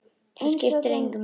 Það skiptir engu máli.